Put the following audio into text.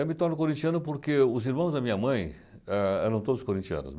Eu me torno corintiano porque os irmãos da minha mãe ah eram todos corintianos.